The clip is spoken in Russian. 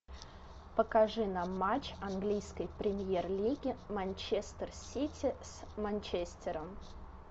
покажи нам матч английской премьер лиги манчестер сити с манчестером